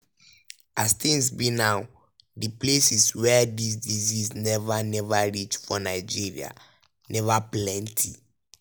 as tins be now di places wia dis disease neva neva reach for nigeria neva plenty.